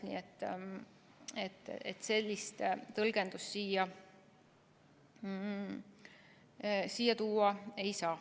Nii et sellist tõlgendust siia tuua ei saa.